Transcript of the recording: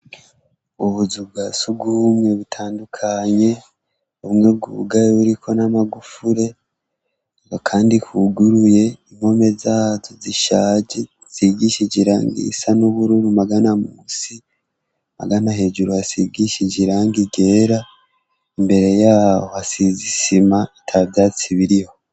Ubuzu bwa si ugumwe bitandukanye bumwe bw'ubugaye buriko n'amagufure ngo, kandi kuguruye imkome zatu zishaje sigishije iranga isa n'ubururu magana musi magana hejuru asigishije iranga igera imbere yaho hasiza gisima ata vyatsi biriho.